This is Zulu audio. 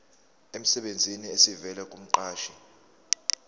emsebenzini esivela kumqashi